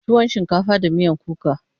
tuwon shinkafa da miyan kuka.